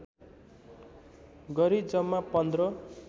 गरी जम्मा पन्ध्र